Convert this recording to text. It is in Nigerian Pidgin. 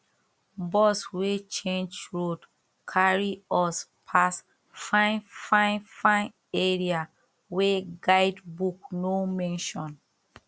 bus wey change road carry us pass fine fine fine area wey guidebook no mention